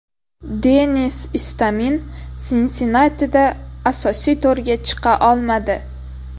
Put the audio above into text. Denis Istomin Sinsinnatida asosiy to‘rga chiqa olmadi.